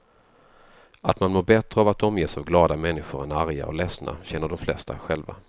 Att man mår bättre av att omges av glada människor än arga och ledsna känner de flesta själva.